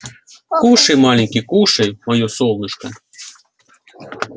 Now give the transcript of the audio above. кушай маленький кушай моё солнышко